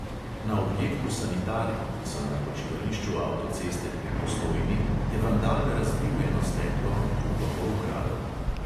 Na objektu sanitarij, ki so na počivališču avtoceste pri postojni, je vandal razbil eno steklo, drugo pa ukradel.